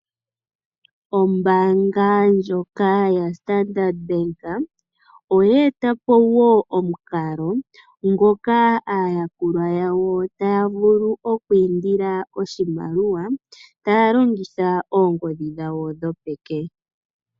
Ombaanga ndjoka ya Standard Bank oyeta po omukalo ngoka aayakulwa yawo taya vulu okwindila oshimaliwa taya longitha oongodhi dhawo dhopeke.